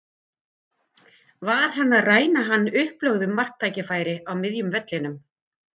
Var hann að ræna hann upplögðu marktækifæri á miðjum vellinum?